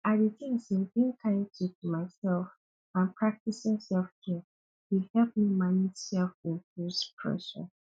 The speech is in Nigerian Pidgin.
i dey tink say being kind to to myself and practicing selfcare dey help me manage selfimposed pressure